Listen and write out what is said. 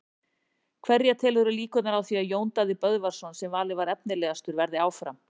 Hverja telurðu líkurnar á því að Jón Daði Böðvarsson sem valinn var efnilegastur verði áfram?